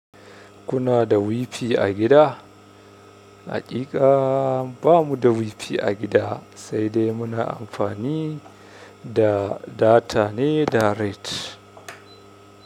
Kuna da Wi-Fi a gida? Haƙiƙa ba mu da Wi-Fi a gida, sai dai muna amfani da data ne da rait.